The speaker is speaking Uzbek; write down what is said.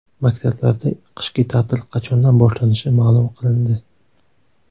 Maktablarda qishki ta’til qachondan boshlanishi ma’lum qilindi.